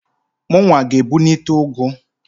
Mụnwa g'ebunite ụgụ.